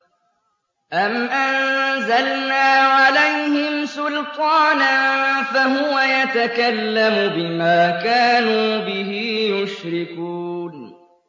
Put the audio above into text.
أَمْ أَنزَلْنَا عَلَيْهِمْ سُلْطَانًا فَهُوَ يَتَكَلَّمُ بِمَا كَانُوا بِهِ يُشْرِكُونَ